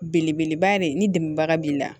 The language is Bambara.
Belebeleba de ye ni dɛmɛbaga b'i la